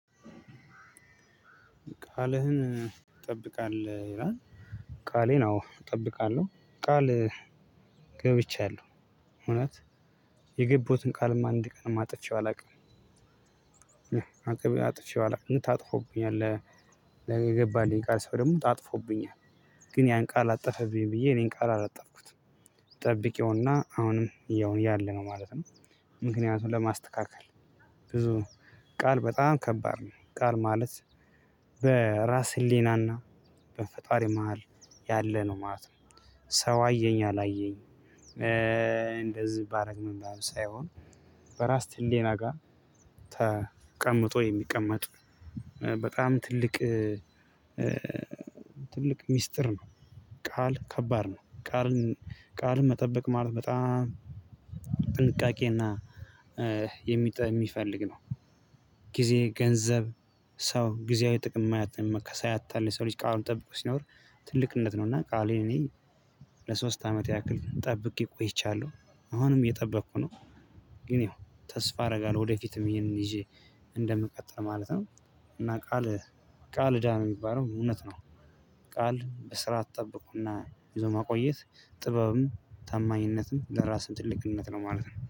ቃልህን እጠብቃለሁ ይላል ቃሌን አዎ እጠብቃለሁ ቃል ገብቻለሁ እውነት የገቡትን ቃልም አንድ ቀን አጥፌው። አላውቅም አጥቼው አላውቅም ታጥፎብኛል። ገባልኝ የቃል ሰው ደግሞ ጣጥፎብኛል ግን ያን ቃል አጠፈብኝ ብዬ እኔን ቃል አላጠፍኩትም። ጠብቄውና አሁንም ያው ያለነው ማለት ነው። ምክንያቱም ለማስተካከል ብዙ ቃል በጣም ከባድ ነው። ቃል ማለት በራስ ህሊናና በፈጣሪ መሃል ያለ ነው ማለት ነው። ሰው አየኝ አላየኝ። እንደዚህ ባደርግ ምን ባደርግ ሳይሆን በራስ ህሌና ጋር ተቀምጦ የሚቀመጥ በጣም ትልቅ ትልቅ ሚስጥር ነው። ቃል ከባድ ነው ቃል ቃል መጠበቅ ማለት በጣም ጥንቃቄና የሚፈልግ ነው። ጊዜ ገንዘብ ሰው ጊዜያዊ ጥቅም ሳያታልል የሰው ልጅ ቃሉን ጠብቆ ሲኖር ትልቅነት ነው። እና ቃሌን እኔ ለሶስት አመት ያክል ጠብቄ ቆይቻለሁ አሁንም እየጠበቅኩ ነው። ግን ያው ተስፋ አደርጋለሁ ወደፊትም ይሄንን ይዤ እንደምቀጥል ማለት ነው። እና ቃል ቃል እዳ ነው የሚባለው እውነት ነው። ቃል በስራ አትጠብቁና ብዙ ማቆየት ጥበብም ታማኝነትም ለራስህ ትልቅነት ነው ማለት ነው